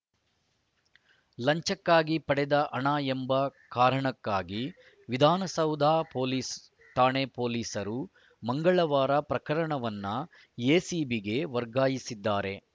ಲಂಚಕ್ಕಾಗಿ ಪಡೆದ ಹಣ ಎಂಬ ಕಾರಣಕ್ಕಾಗಿ ವಿಧಾನಸೌಧ ಪೊಲೀಸ್‌ ಠಾಣೆ ಪೊಲೀಸರು ಮಂಗಳವಾರ ಪ್ರಕರಣವನ್ನು ಎಸಿಬಿಗೆ ವರ್ಗಾಯಿಸಿದ್ದಾರೆ